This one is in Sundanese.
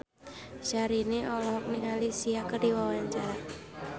Syahrini olohok ningali Sia keur diwawancara